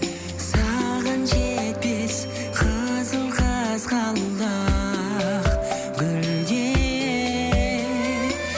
саған жетпес қызыл қызғалдақ гүлдер